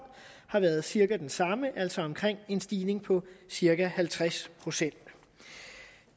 har været cirka den samme altså en stigning på cirka halvtreds procent